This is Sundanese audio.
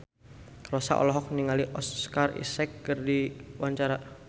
Rossa olohok ningali Oscar Isaac keur diwawancara